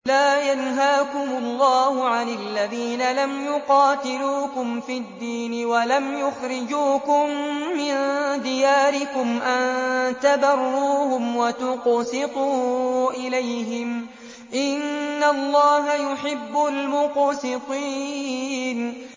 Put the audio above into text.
لَّا يَنْهَاكُمُ اللَّهُ عَنِ الَّذِينَ لَمْ يُقَاتِلُوكُمْ فِي الدِّينِ وَلَمْ يُخْرِجُوكُم مِّن دِيَارِكُمْ أَن تَبَرُّوهُمْ وَتُقْسِطُوا إِلَيْهِمْ ۚ إِنَّ اللَّهَ يُحِبُّ الْمُقْسِطِينَ